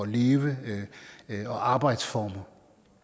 leve og arbejdsformer